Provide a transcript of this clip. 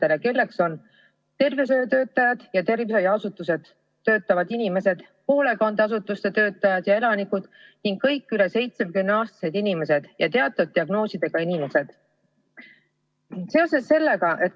Nende hulka kuuluvad tervishoiutöötajad ja tervishoiuasutustes töötavad inimesed, hoolekandeasutuste töötajad ja elanikud ning kõik üle 70-aastased inimesed ja teatud diagnoosiga inimesed.